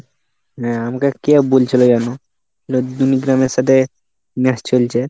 হ্যাঁ আমাকে কে বলছিলো যেন? দুনি গ্রামের সাথে match চলছে।